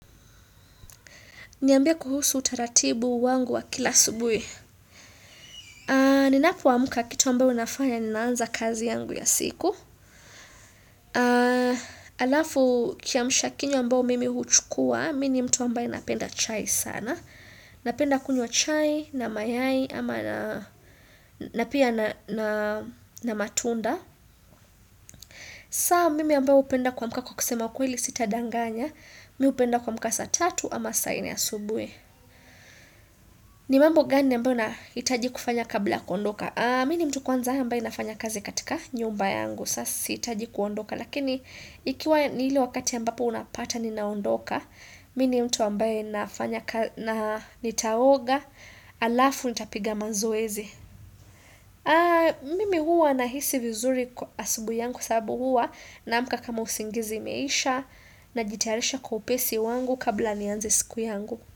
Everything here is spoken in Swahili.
Niambie kuhusu utaratibu wangu wa kila asubuhi. Aa Ninapoamka kitu ambao nafanya ninaanza kazi yangu ya siku. Alafu kiamsha kinywa ambao mimi huchukua, mi ni mtu ambaye napenda chai sana. Napenda kunywa chai na mayai ama na napia na matunda. Saa mimi ambao upenda kuamka kwa kukusema kweli sitadanganya, mi upenda kua mka saa tatu ama saa nne asubuhi. Ni mambo gani ambayo nahitaji kufanya kabla kuondoka Mi ni mtu kwanza ambaye nafanya kazi katika nyumba yangu Sasiitaji kuondoka Lakini ikiwa ni ile wakati ambapo unapata ninaondoka Mini mtu ambaye nafanya na nitaoga Alafu nitapiga mazoezi Mimi huwa nahisi vizuri asubuhi yangu kwa sababu huwa naamka kama usingizi imeisha Najitarisha kwa upesi wangu kabla nianze siku yangu.